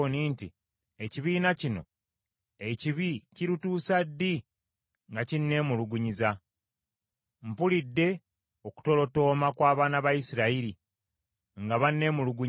“Ekibiina kino ekibi kirituusa ddi nga kinneemulugunyiza? Mpulidde okutolotooma kw’abaana ba Isirayiri nga banneemulugunyiza.